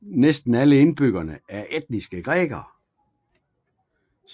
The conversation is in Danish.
Næsten alle indbyggerne er etniske grækere